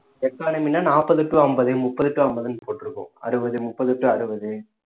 economy ன்னா நாப்பது to அம்பது முப்பது to அம்பதுன்னு போட்டிருக்கும் அறுபது முப்பது to அறுபது